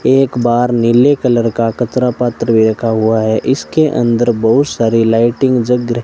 एक बार नीले कलर का कचरा पात्र भी रखा हुआ है इसके अंदर बहुत सारी लाइटिंग जग रही --